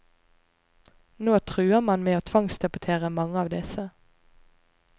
Nå truer man med å tvangsdeportere mange av disse.